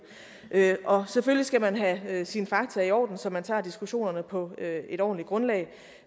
og selvfølgelig skal man have sine fakta i orden så man tager diskussionerne på et ordentligt grundlag